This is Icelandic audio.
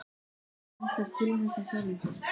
Gat hann ætlast til þess af sjálfum sér?